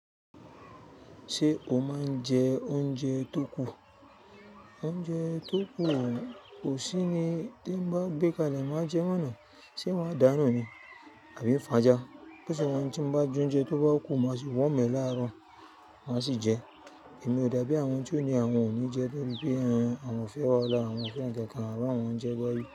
Ṣé o máa ń jẹ oúnjẹ tó kù? Oúnjẹ tó kù, kò sí ni tí n bá gbé kalẹ̀ má jẹ mọ́ náà se maa dánú ni àbí n fà já. Bí o se wa ni tí mo bá jẹ oúnjẹ tó bá kù, má sì warm e láàárọ̀ má sì jẹ. Èmi ò dábi àwọn tí ó ní àwọn ò ní jẹ nítorí pé awon àwọn fẹ́ wahala àwọn o fẹ́ nkakan àwọn ń jẹ gbẹ́yì.